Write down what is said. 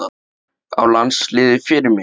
Á landsliðið Fyrirmynd?